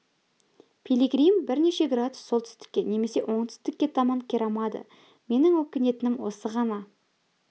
пилигрим бірнеше градус солтүстікке немесе оңтүстікке таман қирамады менің өкінетінім осы ғана